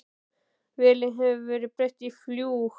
Vélinni hefur verið breytt í fljúg